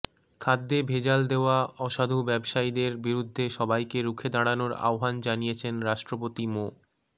খাদ্যে ভেজাল দেওয়া অসাধু ব্যবসায়ীদের বিরুদ্ধে সবাইকে রুখে দাঁড়ানোর আহ্বান জানিয়েছেন রাষ্ট্রপতি মো